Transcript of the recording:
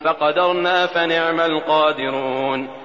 فَقَدَرْنَا فَنِعْمَ الْقَادِرُونَ